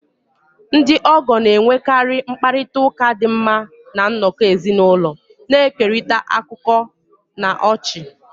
Ndị ogoo na-enwekarị mkparịta ụka dị mma na nnọkọ ezinụlọ, na-ekerịta akụkọ na ọchị.